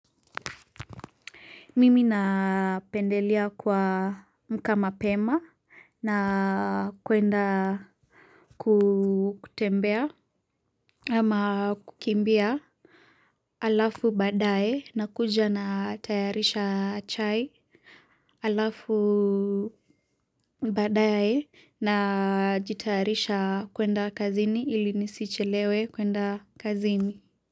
Mimi napendelea kuamka mapema na kwenda kutembea ama kukimbia halafu baadae nakuja natayarisha chai halafu badae najitayarisha kwenda kazini ili nisichelewe kwenda kazini.